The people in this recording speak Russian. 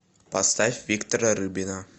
поставь виктора рыбина